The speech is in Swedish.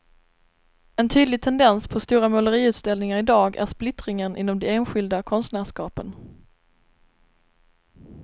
En tydlig tendens på stora måleriutställningar i dag är splittringen inom de enskilda konstnärskapen.